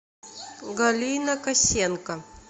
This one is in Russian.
галина косенко